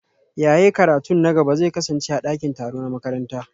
Yaye karatun na gaba zai kasance a dakin taro na makaranta